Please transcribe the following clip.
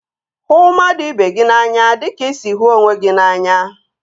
Hụ mmadụ ibe gị n'anya dịka ị sị hụ onwe gị n'anya